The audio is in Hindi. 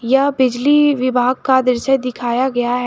यह बिजली विभाग का दृश्य दिखाया गया है।